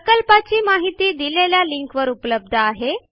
प्रकल्पाची माहिती दिलेल्या लिंकवर उपलब्ध आहे